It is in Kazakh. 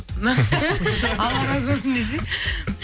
алла разы болсын десейші